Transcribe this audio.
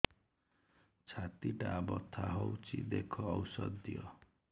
ଛାତି ଟା ବଥା ହଉଚି ଦେଖ ଔଷଧ ଦିଅ